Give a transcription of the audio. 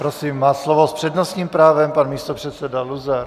Prosím, má slovo s přednostním právem pan místopředseda Luzar.